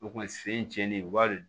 O kɔni sen cɛnnen u b'a